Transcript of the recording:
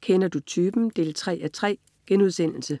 Kender du typen? 3:3*